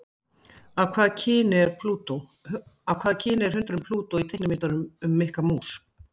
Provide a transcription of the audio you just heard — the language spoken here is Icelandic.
Af hvaða kyni er hundurinn Plútó í teiknimyndunum um Mikka Mús?